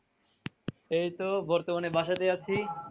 এই তো বর্তমান বাসাতেই আছি।